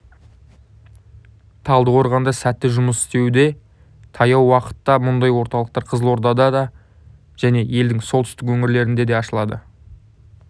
талдықорғанда сәтті жұмыс істеуде таяу уақытта мұндай орталықтар қызылордада және елдің солтүстік өңірлерінде де ашылады